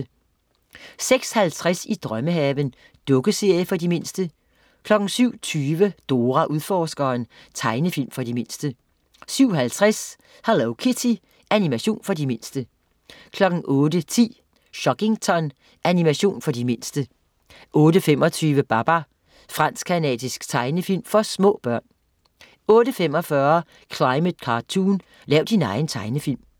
06.50 I drømmehaven. Dukkeserie for de mindste 07.20 Dora Udforskeren. Tegnefilm for de mindste 07.50 Hello Kitty. Animation for de mindste 08.10 Chuggington. Animation for de mindste 08.25 Babar. Fransk-canadisk tegnefilm for små børn 08.45 Climate Cartoon, lav din egen tegnefilm